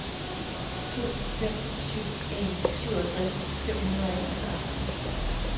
to fem syv en syvogtres fem hundrede og enogfyrre